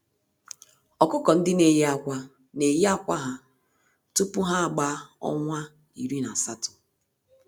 Ọkụkọ-ndị-neyi-ákwà n'eyi ákwà ha tupu ha agbaa ọnwa iri na asatọ.